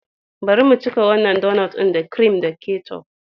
Bari mu cika wannan donut ɗin da kirim da ketchup.